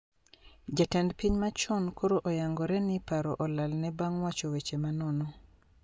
Jatend piny machon koro oyangore ni paro olalne bang` wacho weche ma nono